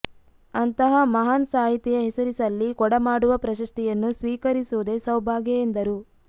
ಅಂತಹ ಮಹಾನ್ ಸಾಹಿತಿಯ ಹೆಸರಿಸಲ್ಲಿ ಕೊಡಮಾಡುವ ಪ್ರಶಸ್ತಿಯನ್ನು ಸ್ವೀಕರಿಸುವುದೇ ಸೌಭಾಗ್ಯ ಎಂದರು